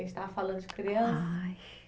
estava falando de criança? Ai